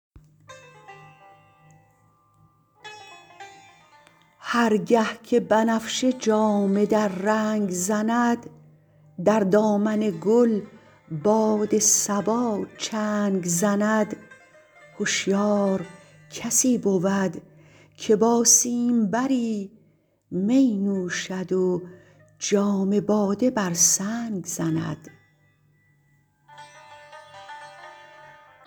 هر گه که بنفشه جامه در رنگ زند در دامن گل باد صبا چنگ زند هشیار کسی بود که با سیمبری می نوشد و جام باده بر سنگ زند